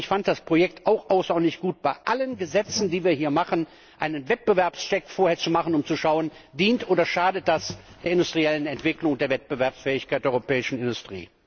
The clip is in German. Ich fand das Projekt auch außerordentlich gut, bei allen Gesetzen, die wir hier machen, vorher einen Wettbewerbscheck zu machen, um zu schauen, dient oder schadet das der industriellen Entwicklung und der Wettbewerbsfähigkeit der europäischen Industrie.